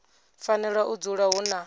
fanela u dzula hu na